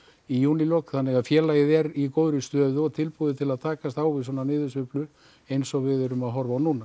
í júlílok þannig félagið er í góðri stöðu og tilbúið að takast á við svona niðursveiflu eins og við erum að horfa á núna